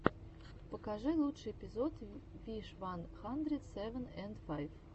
покажи лучший эпизод виш ван хандрит севен энд файв